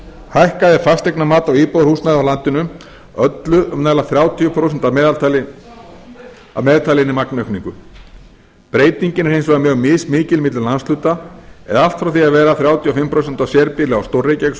hækkaði fasteignamat á íbúðarhúsnæði á landinu öllu um nálægt þrjátíu prósent að meðtalinni magnaukningu breytingin er hins vegar mjög mismikil milli landshluta eða allt frá því að vera þrjátíu og fimm prósent á sérbýli á stór reykjavíkursvæðinu